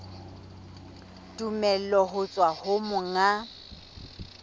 tumello ho tswa ho monga